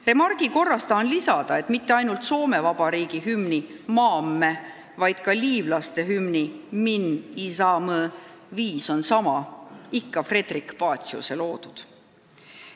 Remargi korras tahan lisada, et mitte ainult Soome Vabariigi hümni "Maamme", vaid ka liivlaste hümni "Min izamõ" viis on sama – ikka Fredrik Paciuse loodud.